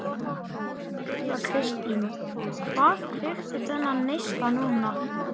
Þóra Kristín: Hvað kveikti þennan neista núna?